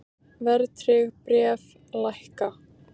Verðtryggð bréf lækka